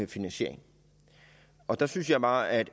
finansiering og der synes jeg bare at